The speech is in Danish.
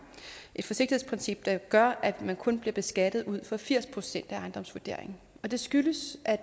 et forsigtighedsprincip der gør at man kun bliver beskattet ud fra firs procent af ejendomsvurderingen det skyldes at